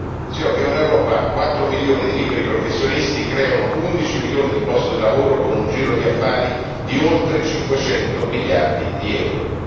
Dicevo che in Europa 4 milioni di liberi professionisti creano 11 milioni di posti di lavoro, con un giro di affari di oltre 500 miliardi di euro.